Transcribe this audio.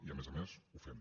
i a més a més ho fem